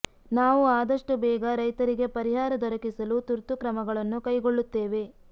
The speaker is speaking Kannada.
ನಾವು ಆದಷ್ಟು ಬೇಗ ರೈತರಿಗೆ ಪರಿಹಾರ ದೊರಕಿಸಲು ತುರ್ತು ಕ್ರಮಗಳನ್ನು ಕೈಗೊಳ್ಳುತ್ತೇವೆ